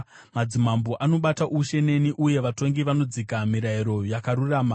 Madzimambo anobata ushe neni uye vatongi vanodzika mirayiro yakarurama;